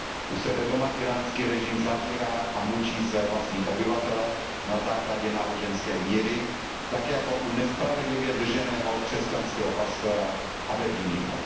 U sebe doma íránský režim zavírá a mučí své vlastní obyvatele na základě náboženské víry, tak jako u nespravedlivě drženého křesťanského pastora Abedíního.